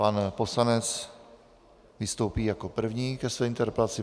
Pan poslanec vystoupí jako první ke své interpelaci.